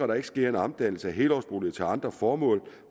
der ikke sker en omdannelse af helårsboliger til andre formål